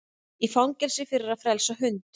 Í fangelsi fyrir að frelsa hund